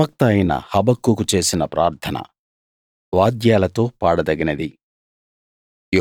ప్రవక్త అయిన హబక్కూకు చేసిన ప్రార్థన వాద్యాలతో పాడదగినది